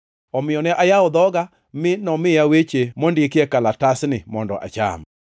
Omiyo ne ayawo dhoga, mi nomiya weche mondikie kalatasni mondo acham.